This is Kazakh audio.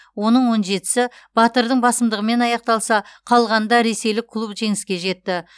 оның он жетісі батырдың басымдығымен аяқталса қалғанында ресейлік клуб жеңіске жетті